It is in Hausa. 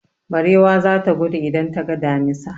Barewa za ta gudu idan ta ga damisa.